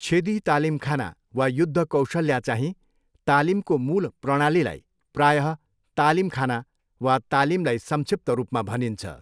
छेदी तालिमखाना वा युद्धकौशल्या चाहिँ तालिमको मूल प्रणालीलाई प्रायः तालिमखाना वा तालिमलाई संक्षिप्त रूपमा भनिन्छ।